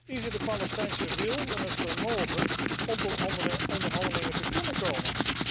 Is het de Palestijnse wil en het vermogen om tot andere onderhandelingen te kunnen komen?